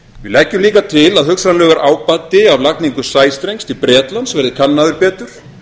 við leggjum líka til að hugsanlegur ábati af lagningu sæstrengs til bretlands verði kannaður betur